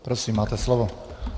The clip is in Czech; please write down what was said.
Prosím, máte slovo.